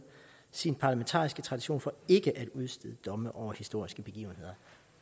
sin parlamentariske tradition for ikke at udstede domme over historiske begivenheder